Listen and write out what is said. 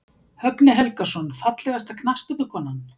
Högni Helgason Fallegasta knattspyrnukonan?